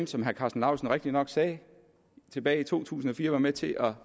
som herre karsten lauritzen rigtigt nok sagde tilbage i to tusind og fire var med til at